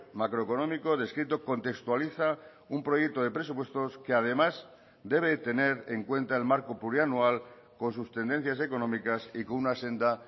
macroeconómico descrito contextualiza un proyecto de presupuestos que además debe tener en cuenta el marco plurianual con sus tendencias económicas y con una senda